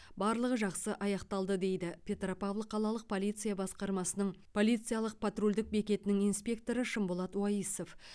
барлығы жақсы аяқталды дейді петропавл қалалық полиция басқармасының полициялық патрульдік бекетінің инспекторы шымболат уаисов